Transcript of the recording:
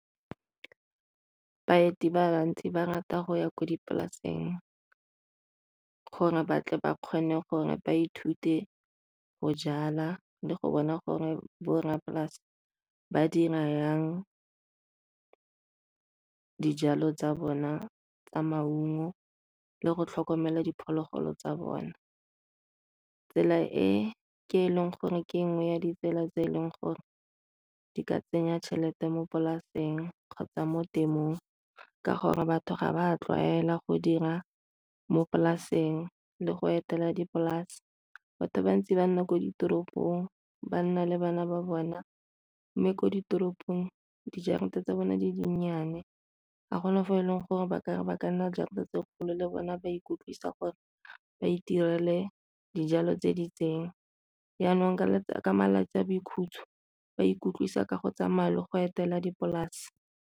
Baeti bantsi ba rata go ya ko dipolaseng gore ba tle ba kgone gore ba ithute go jala le go bona gore bo rra polase ba dira jang dijalo tsa bona tsa maungo le go tlhokomela diphologolo tsa bona. Tsela e ke e leng gore ke nngwe ya ditsela tse e leng gore di ka tsenya tšhelete mo polaseng kgotsa mo temothuong ka gore batho ga ba tlwaela go dira mo polaseng le go etela dipolase. Batho bantsi ba nna ko ditoropong ba nna le bana ba bona, mme ko ditoropong dijarata tsa bone di di nnyane. Ga gona mo e leng gore ba ba ka nna jarata tse dikgolo le bone ba ikutlwisa gore ba itirele dijalo tse di itseng. Janong ka malatsi a boikhutso ba ikutlwisa ka go tsamaya le go etela dipolase.